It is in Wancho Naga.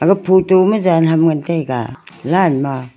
ga photo ma jan ham ngan taiga line ma.